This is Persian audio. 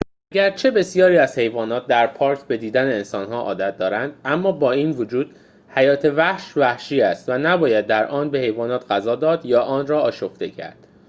اگرچه بسیاری از حیوانات در پارک به دیدن انسان‌ها عادت دارند اما با این وجود حیات وحش وحشی است و نباید در آن به حیوانات غذا داد یا آن را آشفته کرد